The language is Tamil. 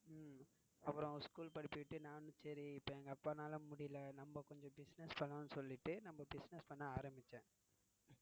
உம் அப்புறம் school படிப்பை விட்டு நானும் சரி இப்போ எங்க அப்பானால முடியல நம்ம கொஞ்சம் business பண்ணுவோம்னு சொல்லிட்டு நம்ம business பண்ண ஆரம்பிச்சேன்.